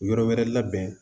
Yɔrɔ wɛrɛ labɛn